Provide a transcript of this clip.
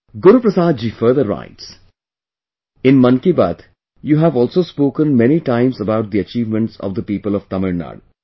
Guru Prasad ji further writes "In 'Mann Ki Baat', you have also spoken many times about the achievements of the people of Tamil Nadu